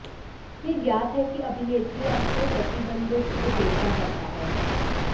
यह ज्ञात है कि अभिनेत्री अक्सर प्रतिबंधों की उपेक्षा करता है